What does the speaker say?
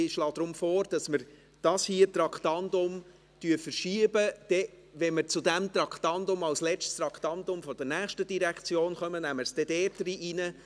Ich schlage deshalb vor, dass wir dieses Traktandum auf den Zeitpunkt verschieben, wo wir dieses Geschäft zum letzten Mal behandeln werden, um es dann dort, bei der nächsten Direktion, hineinzunehmen.